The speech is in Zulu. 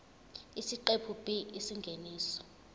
isiqephu b isingeniso